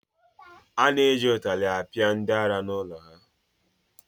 A na-eji ụtara akpị ndị ara n’ụlọ ha